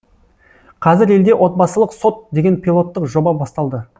қазір елде отбасылық сот деген пилоттық жоба басталды